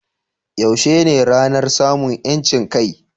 Yaushe ne ranar samun 'yancin kai?